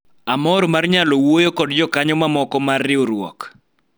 amor mar nyalo wuoyo kod jokanyo mamoko mar riwruok